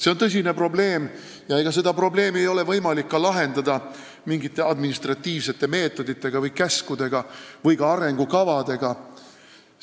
See on tõsine probleem ja seda probleemi ei ole võimalik lahendada mingite administratiivsete meetoditega, mingite käskude või ka arengukavadega.